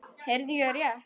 Heyrði ég rétt.